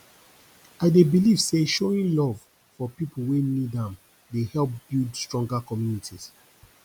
i dey believe say showing love for people wey need am dey help build stronger communities